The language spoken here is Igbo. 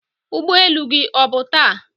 ụgbọ elu gị ọ bụ taa?